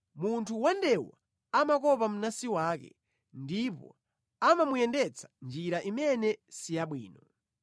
Munthu wandewu amakopa mnansi wake, ndipo amamuyendetsa njira imene si yabwino.